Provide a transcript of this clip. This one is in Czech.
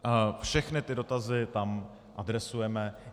Všechny ty dotazy tam adresujeme.